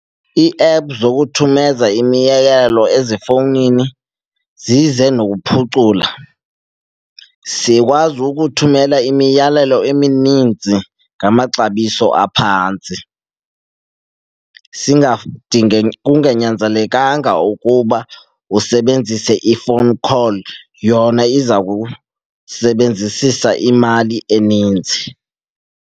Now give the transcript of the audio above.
Iiephu zokuthumeza imiyalezo ezifowunini zize nokuphucula. Sikwazi ukuthumela imiyalelo emininzi ngamaxabiso aphantsi kunganyanzelekanga ukuba usebenzise i-phone call, yona iza kukusebenzisisa imali eninzi.